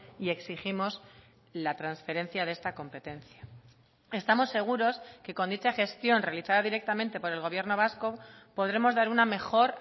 y exigimos la transferencia de esta competencia estamos seguros que con dicha gestión realizada directamente por el gobierno vasco podremos dar una mejor